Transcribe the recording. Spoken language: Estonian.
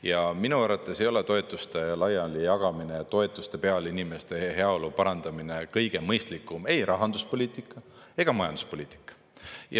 Ja minu arvates ei ole toetuste laialijagamine ja toetuste peal inimeste heaolu parandamine kõige mõistlikum ei rahanduspoliitika ega majanduspoliitika.